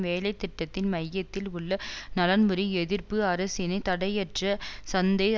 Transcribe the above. வேலை திட்டத்தின் மையத்தில் உள்ள நலன்புரி எதிர்ப்பு அரசினை தடையற்ற சந்தை